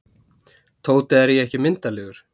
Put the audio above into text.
Tóti, er ég ekki myndarlegur?